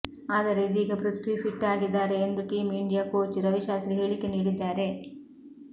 ಆದರೆ ಇದೀಗ ಪೃಥ್ವಿ ಫಿಟ್ ಆಗಿದ್ದಾರೆ ಎಂದು ಟೀಂ ಇಂಡಿಯಾ ಕೋಚ್ ರವಿಶಾಸ್ತ್ರಿ ಹೇಳಿಕೆ ನೀಡಿದ್ದಾರೆ